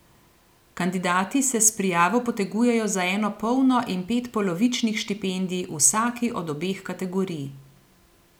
Kandidati se s prijavo potegujejo za eno polno in pet polovičnih štipendij v vsaki od obeh kategorij.